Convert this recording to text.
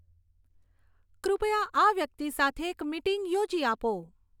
કૃપયા આ વ્યક્તિ સાથે એક મિટિંગ યોજી આપો